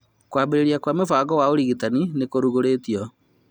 kwambĩrĩria kĩa mũbango wa ũrigitani nĩ nĩkũrugũrĩtio